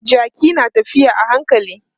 Jaki na tafiya a hankali.